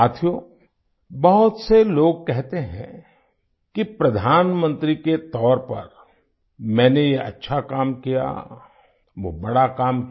साथियो बहुत से लोग कहते हैं कि प्रधानमंत्री के तौर पर मैंने ये अच्छा काम किया वो बड़ा काम किया